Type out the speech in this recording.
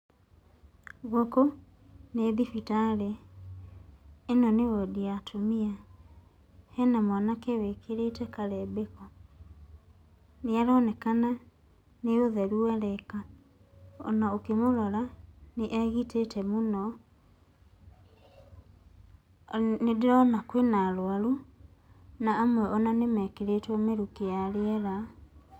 Gũkũ nĩ thibitarĩ. Ĩno nĩ wondi ya atumia. Hena mwanake wĩkĩrĩte karembeko, nĩ aronekana nĩ ũtheru areka. O na ũkĩmũrora, nĩ egitĩte mũno. Nĩ ndĩrona kwĩna arwaru na amwe o na nĩ mekĩrĩtwo mĩrukĩ ya rĩera.